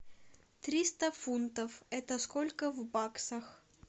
триста фунтов это сколько в баксах